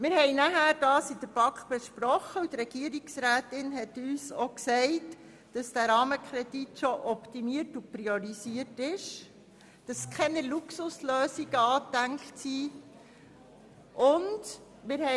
Die BaK besprach diesen Mitbericht, und Regierungsrätin Egger teilte uns mit, dass für diesen Rahmenkredit bereits alle Optimierungen und Priorisierungen vorgenommen worden seien und dass keine Luxuslösungen vorgesehen seien.